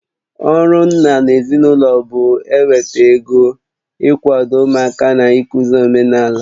Ọrụ nna n'ezinụlọ bụ eweta ego, ị kwado ụmụaka na ịkụzi omenaala.